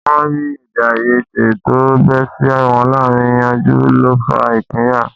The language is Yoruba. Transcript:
Wọ́n ó rí èdèàìyedè tó bẹ́ sí wọn láàárín yanjú ló fa ìpínyà